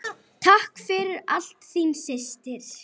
Takk fyrir allt, þín systir.